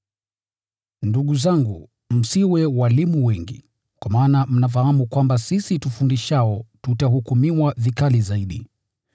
Ndugu zangu, msiwe walimu wengi, kwa maana mnafahamu kwamba sisi tufundishao tutahukumiwa vikali zaidi.